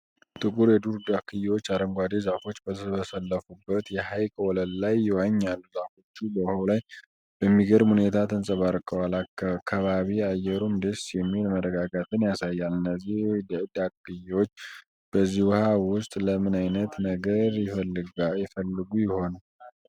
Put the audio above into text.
ጥቂት የዱር ዳክዬዎች አረንጓዴ ዛፎች በተሰለፉበት የሐይቅ ወለል ላይ ይዋኛሉ። ዛፎቹ በውሃው ላይ በሚገርም ሁኔታ ተንጸባርቀዋል፤ ከባቢ አየሩም ደስ የሚል መረጋጋትን ያሳያል። እነዚህ ዳክዬዎች በዚህ ውሃ ውስጥ ለምን አይነት ነገር ይፈልጉ ይሆን?